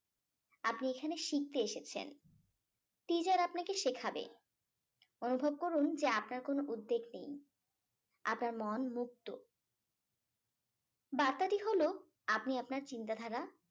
আপনি এখানে শিখতে এসেছেন teacher আপনাকে শেখাবে অনুভব রকুন যে আপনার কোনো উদ্বেগ নেই আপনার মন মুক্ত বার্তাটি হলো আপনি আপনার চিন্তাধারা